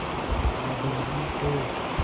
बादल ही थे